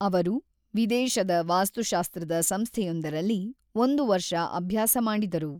ಅವರು ವಿದೇಶದ ವಾಸ್ತುಶಾಸ್ತ್ರದ ಸಂಸ್ಥೆಯೊಂದರಲ್ಲಿ ಒಂದು ವರ್ಷ ಅಭ್ಯಾಸ ಮಾಡಿದರು.